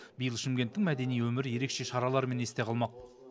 биыл шымкенттің мәдени өмірі ерекше шаралармен есте қалмақ